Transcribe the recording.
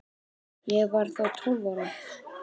Ég var þá tólf ára.